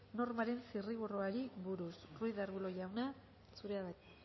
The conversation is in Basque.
normaren zirriborroari buruz ruiz de arbulo jauna zurea da hitza